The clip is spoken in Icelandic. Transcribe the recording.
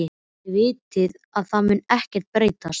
Þið vitið að það mun ekkert breytast.